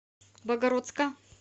богородска